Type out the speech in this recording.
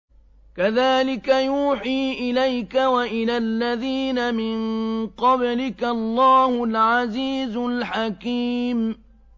كَذَٰلِكَ يُوحِي إِلَيْكَ وَإِلَى الَّذِينَ مِن قَبْلِكَ اللَّهُ الْعَزِيزُ الْحَكِيمُ